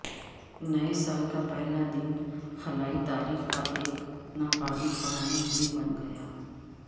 نئے سال کا پہلا دن خلائی تاریخ کا ایک ناقابل فراموش دن بن گیا